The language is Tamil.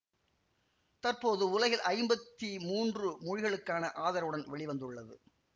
தற்பொழுது உலகில் ஐம்பத்தி மூன்று மொழிகளுக்கான ஆதரவுடன் வெளி வந்துள்ளது